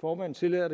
formanden tillader